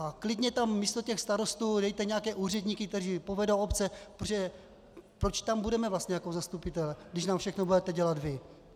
A klidně tam místo těch starostů dejte nějaké úředníky, kteří povedou obce, protože tam budeme vlastně jako zastupitelé, když nám všechno budete dělat vy.